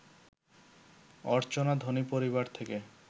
অর্চনা ধনী পরিবার থেকে